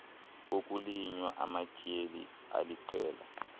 kokulinywa amatyeli aliqela